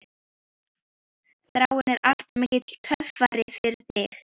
Þráinn er alltof mikill töffari fyrir þig.